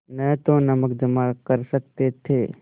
न तो नमक जमा कर सकते थे